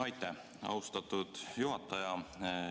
Aitäh, austatud juhataja!